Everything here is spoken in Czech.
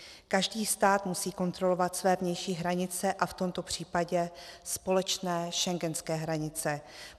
Každý stát musí kontrolovat své vnější hranice a v tomto případě společné schengenské hranice.